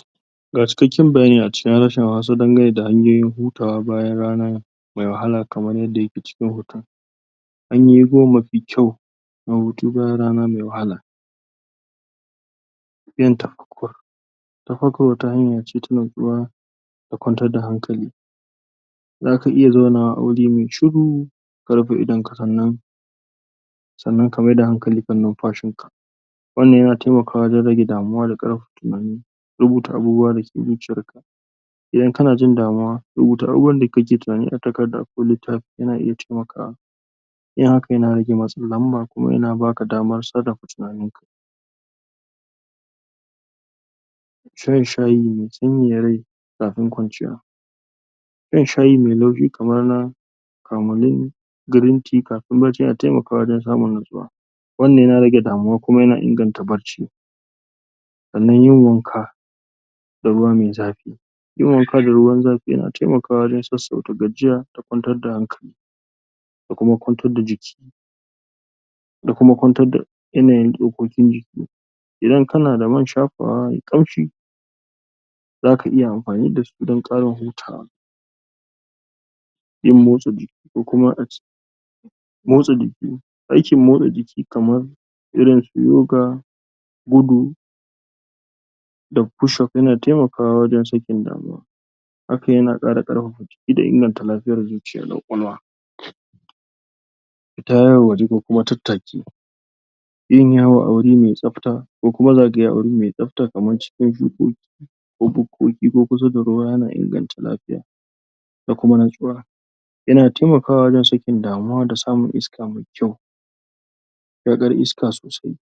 ? ga cikakken bayani a cikin harshen hausa dangane da hanyoyin hutawa bayan rana mai wahala kaman yadda yake cikin hoton hanyoyi goma mafi kyau na hutu bayan rana mai wahala? ta farkon wata hanya ce ta natsuwa da kwantar da hankali zaka iya zaunawa a wuri mai shuru ka rufe idonka sannan sannan ka mai da hankali kan numfashinka wannan yana taimakawa wajen rage damuwa da ƙarpapa tinani rubuta abubuwa dake zuciyarka idan kana jin damuwa rubuta abubuwan da kake tinani a takarda ko littafi yana iya taimakawa yin haka yana rage matsin lamba kuma yana baka damar sarrafa tinaninka shan shayi mai sanyaya rai kafin kwanciya shan shayi mai? kamar na kamolin girin ti kapin bacci yana taimakawa wajen samun natsuwa wannan yana rage damuwa kuma yana inganta bacci sannan yin wanka da ruwa mai zafi yin wanka da ruwan zafi yana taimakawa wajen sassauta gajiya da kwantar da hankali da kuma kwantar da jiki da kuma kwantar da yanayin tsokokin jiki idan kana da man shapawa mai ƙamshi zaka iya amfani dasu don ƙarin hutawa yin motsa jiki ko kuma ace motsa jiki aikin motsa jiki kaman irin su yoga gudu da pushop yana taimakawa wajen sakin damuwa haka yana ƙara ƙarpapa ida inganta lafiyar zuciya da kwakwalwa? pita yawo waje ko kuma tattaki yin yawo a wuri mai tsafta ko kuma zagaye a wuri mai tsafta kaman cikin shukoki ko bukkoki ko kusa da ruwa yana inganta lafiya da kuma natsuwa yana taimakawa wajen sakin damuwa da samun iska mai kyau shaƙar iska sosai